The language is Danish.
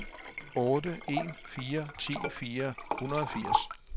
fem otte en fire ti fire hundrede og firs